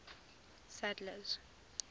sadler's